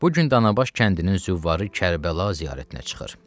Bu gün Danabaş kəndinin züvvarı Kərbəla ziyarətinə çıxır.